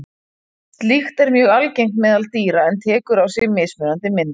Slíkt er mjög algengt meðal dýra en tekur á sig mismunandi myndir.